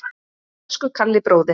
Elsku Kalli bróðir.